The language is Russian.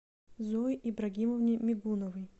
зое ибрагимовне мигуновой